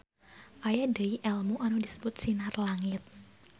Aya deui elmu anu disebut SinarLangit.